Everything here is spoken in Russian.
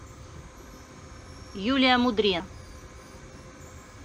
юлия мудре